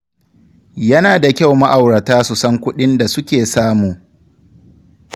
Yana da kyau ma’aurata su san kuɗin da suke samu.